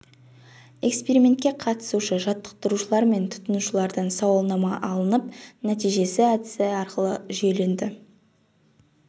экспериментке қатысушы жаттықтырушылар мен тұтынушылардан сауалнама алынып нәтижесі әдісі арқылы жүйеленді